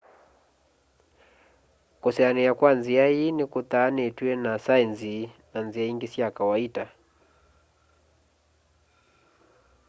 kusoania kwa nzia iĩ nikuthanĩtwe na saenzi na nzĩa ingĩ sya kawaita